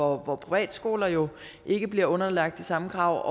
hvor privatskoler jo ikke bliver underlagt de samme krav